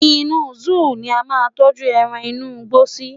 inú zoo ni a ma n tọju eran inú igbó sí